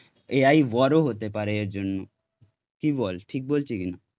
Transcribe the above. AI হতে পারে এর জন্য, কি বল ঠিক বলছি কিনা?